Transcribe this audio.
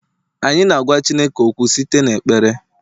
anyị na-agwa Chineke okwu site n'ekpere